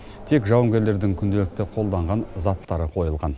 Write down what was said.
тек жауынгерлердің күнделікті қолданған заттары қойылған